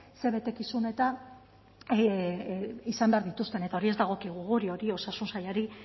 ze betekizun eta izan behar dituzten eta hori ez dagokigu guri hori osasun sailari